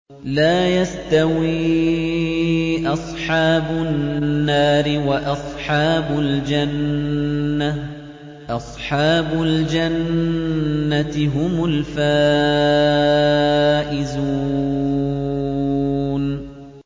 لَا يَسْتَوِي أَصْحَابُ النَّارِ وَأَصْحَابُ الْجَنَّةِ ۚ أَصْحَابُ الْجَنَّةِ هُمُ الْفَائِزُونَ